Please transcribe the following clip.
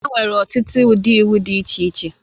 Enwere ọtụtụ ụdị iwu dị iche iche